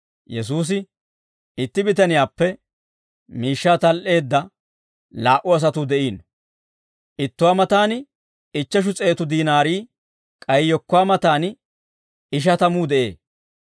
Yesuusi, «Itti bitaniyaappe miishshaa tal"eedda laa"u asatuu de'iino. Ittuwaa matan ichcheshu s'eetu diinaari, k'ay yekkuwaa matan ishatamuu de'ee.